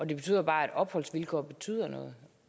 det viser bare at opholdsvilkår betyder noget